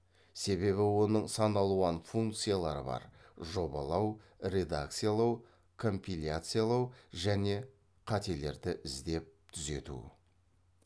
себебі оның сан алуан функциялары бар жобалау редакциялау компиляциялау және қателерді іздеп түзету